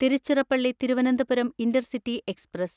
Tiruchirappalli Thiruvananthapuram intercity express